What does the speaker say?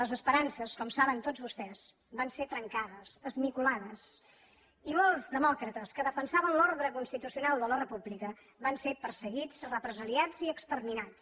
les esperances com saben tots vostès van ser trencades esmicolades i molts demòcrates que defensaven l’ordre constitucional de la república van ser perseguits represaliats i exterminats